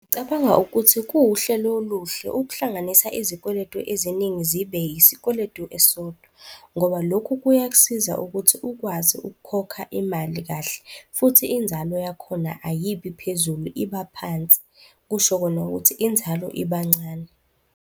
Cabanga ukuthi kuwuhlelo oluhle ukuhlanganisa izikweletu eziningi zibe isikweletu esisodwa ngoba lokhu kuyakusiza ukuthi ukwazi ukukhokha imali kahle. Futhi inzalo yakhona ayibi phezulu, iba phansi, kusho kona ukuthi inzalo iba ncane.